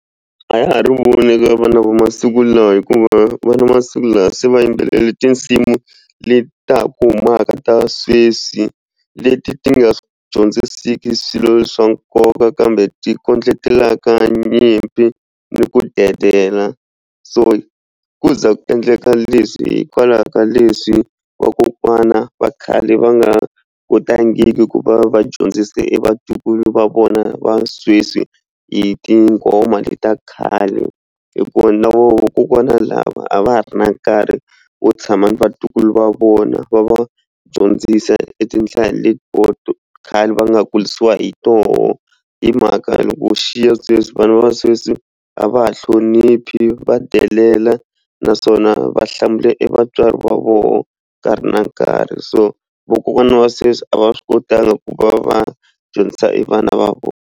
A ya ha ri vana va masiku lawa hikuva vana va masiku lawa se va yimbelela tinsimu leti ta ha ku humaka ta sweswi leti ti nga dyondzisiki swilo swa nkoka kambe ti kondletelaka nyimpi ni ku dedela so ku za ku endleka leswi hikwalaho ka leswi vakokwana va khale va nga kotangiku ku va va dyondzise e vatukulu va vona va sweswi hi tinghoma leti ta khale hikuva na vona vakokwana lava a va ha ri na nkarhi wo tshama ni vatukulu va vona va va dyondzisa etindlela leti khale va nga kurisiwa hi toho hi mhaka loko u xiya sweswi vana va sweswi a va ha hloniphi va delela naswona va hlamula evatswari va vona nkarhi na nkarhi so vakokwana wa sesi a va swi kotanga ku va va dyondzisa evana va vona.